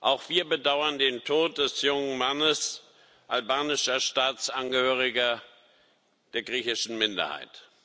Auch wir bedauern den Tod des jungen Mannes, albanischer Staatsangehöriger der griechischen Minderheit.